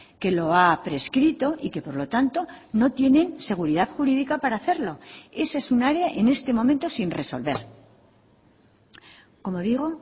que lo ha prescrito y que por lo tanto no tienen seguridad jurídica para hacerlo ese es un área en este momento sin resolver como digo